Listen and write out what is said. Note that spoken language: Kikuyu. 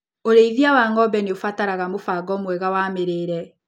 ũrĩithia wa ngombe nĩũbataraga mũbango mwega wa mĩrĩire.